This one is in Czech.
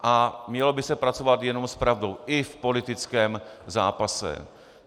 A mělo by se pracovat jenom s pravdou - i v politickém zápase.